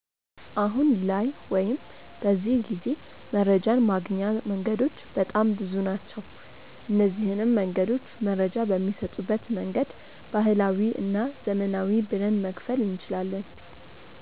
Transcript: አሁን ላይ ወይም በዚህ ጊዜ መረጃን ማግኛ መንገዶች በጣም ብዙ ናቸው። እነዚንም መንገዶች መረጃ በሚሰጡበት መንገድ ባህላዊ እና ዘመናዊ ብለን መክፈል እንችላለን።